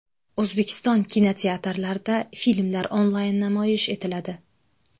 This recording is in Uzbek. O‘zbekiston kinoteatrlarida filmlar onlayn namoyish etiladi.